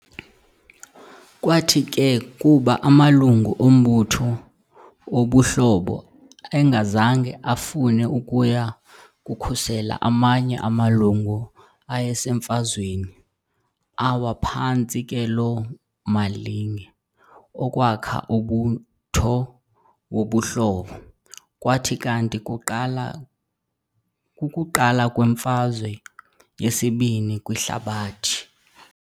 Kwathi ke kuba amalungu ombutho wobuHlobo engazange afune ukuya kukhusela amanye amalungu awayeseMfazweni, awa phantsi ke loo malinge okwakha umbutho wobuHlobo, kwathi kanti kuqala kukuqala kweMfazwe yesiBini kwiHlabathi.